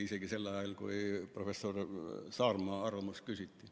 Ei olnud isegi sel ajal, kui professor Saarma arvamust küsiti.